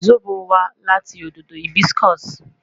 Zobo wa lati ododo hibiscus